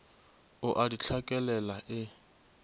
o a di hlakelela e